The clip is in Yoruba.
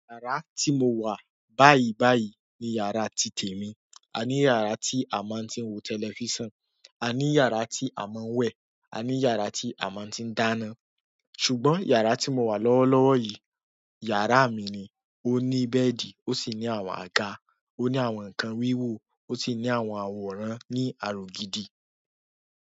Yàrá tí mo wà báyìí báyìí ni yàrá ti tèmi. A ní yàrá tí a máa ń ti wo tẹlifísàn, a ní yàrá tí a máa ń wẹ̀, a ní yàrá tí a máa ń ti dáná. Ṣùgbọ́n yàrá tí mo wà lọ́wọ́ lọ́wọ́ yìí, yàrá mi ni. Ó ní bẹ́ẹ̀dì, ó sì ní àwọn àga, ó ní àwọn nǹkan wíwo, ó sì ní àwọn àwòrán ní àrò gidi.